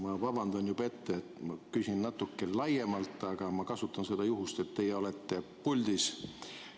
Ma vabandan juba ette, et ma küsin natuke laiemalt, aga ma kasutan juhust, et teie olete puldis.